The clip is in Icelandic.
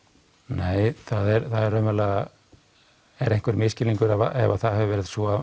nei það er raunverulega einhver misskilningur ef það hefur verið svo